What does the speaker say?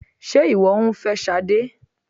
Sé ìwọ ń fẹ́ Sade?